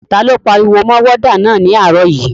Ta ló pariwo mọ wádà náà ní àárọ̀ yìí?